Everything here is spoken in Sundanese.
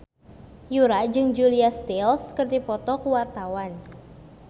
Yura jeung Julia Stiles keur dipoto ku wartawan